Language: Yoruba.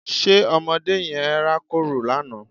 Ṣe ọmọdé yẹn rákòrò lánàá?